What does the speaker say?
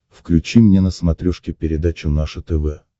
включи мне на смотрешке передачу наше тв